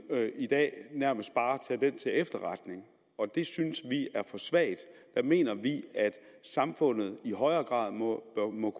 i dag nærmest bare tage det til efterretning og det synes vi er for svagt der mener vi at samfundet i højere grad må